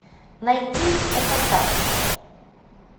найти эпатаж